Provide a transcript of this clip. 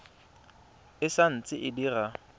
e sa ntse e dira